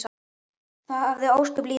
Það hafði ósköp lítil áhrif.